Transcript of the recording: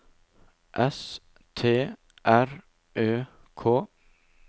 S T R Ø K